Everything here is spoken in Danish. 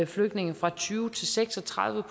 flygtninge fra tyve til seks og tredive